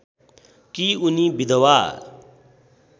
कि उनी विधवा